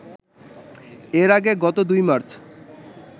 এর আগে গত ২ মার্চ